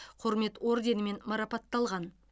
құрмет орденімен марапатталған